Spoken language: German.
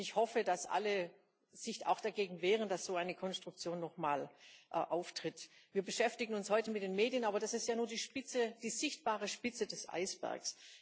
Ich hoffe, dass sich alle auch dagegen wehren, dass so eine Konstruktion noch mal auftritt. Wir beschäftigen uns heute mit den Medien, aber das ist ja nur die Spitze, die sichtbare Spitze des Eisbergs.